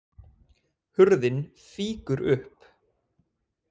Hurðin fýkur upp.